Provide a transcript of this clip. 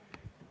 Aitäh!